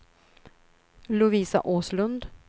Lovisa Åslund